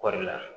Kɔɔri la